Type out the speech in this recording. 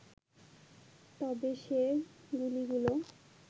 তবে সে গুলিগুলো